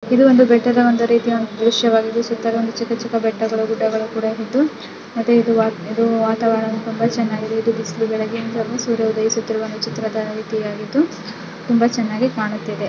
ಇದು ಒಂದು ಬೆಟ್ಟದ ಒಂದು ರೀತಿ ಒಂದು ದೃಶ್ಯವಾಗಿದೆ ಸುತ್ತಲೂ ಚಿಕ್ಕ ಚಿಕ್ಕ ಬೆಟ್ಟಗಳು ಗುಡ್ಡಗಳು ಕೂಡ ಇದ್ದು ಮತ್ತೆ ಇದು ವಾತಾವರಣ ತುಂಬಾ ಚೆನ್ನಾಗಿದೆ ಇದು ಬಿಸಿಲು ಬೆಳಗಿನಿಂದಲೂ ಸೂರ್ಯ ಉದಯಿಸುತ್ತಿರುವ ಚಿತ್ರವಾಗಿದ್ದು ತುಂಬಾ ಚೆನ್ನಾಗಿ ಕಾಣುತ್ತಿದೆ.